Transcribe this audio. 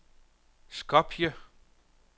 Skopje